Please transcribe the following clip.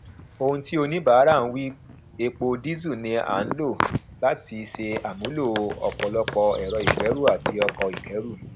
òhun tí oníbàárà ń wí epo díìsẹl ni a ń lò láti ṣe àmúlò ọpọlọpọ ẹrọ ìgbéru àti ọkọ ìkéru